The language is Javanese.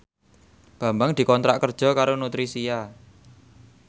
Bambang dikontrak kerja karo Nutricia